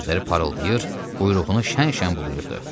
Gözləri parıldayır, quyruğunu şən-şən bulayırdı.